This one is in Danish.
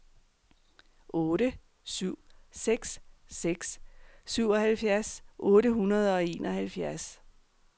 otte syv seks seks syvoghalvfjerds otte hundrede og enoghalvfjerds